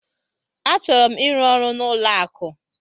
Achọrọ m ịrụ ọrụ n'ụlọ akụ.